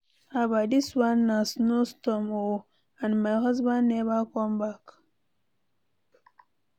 Haba, dis one na snow storm oo and my husband never come back.